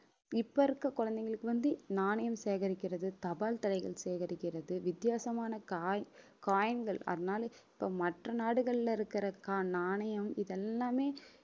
இப்ப இருக்க குழந்தைங்களுக்கு வந்து நாணயம் சேகரிக்கிறது தபால் தலைகள் சேகரிக்கிறது வித்தியாசமான coi~ coin கள் அதனால இப்ப மற்ற நாடுகள்ல இருக்கிற க~ நாணயம் இதெல்லாமே